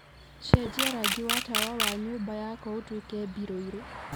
cenjia rangi wa tawa wa nyũmba yakwa utuike Mbirũirũ